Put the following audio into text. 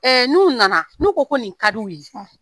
Ee n'u nana n'u ko ko nin ka di u ye